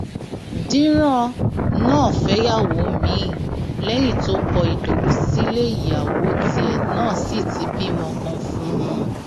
dírán náà fẹyàwó míín lẹyìn tó kọ ìdòwú sílé ìyàwó tiẹ náà sí ti bímọ kan fún un